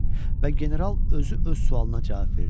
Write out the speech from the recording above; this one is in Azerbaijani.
Və general özü öz sualına cavab verdi.